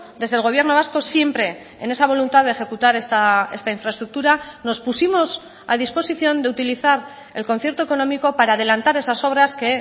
desde el gobierno vasco siempre en esa voluntad de ejecutar esta infraestructura nos pusimos a disposición de utilizar el concierto económico para adelantar esas obras que